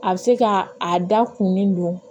A bɛ se ka a da kun min don